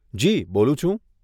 જી, બોલું છું.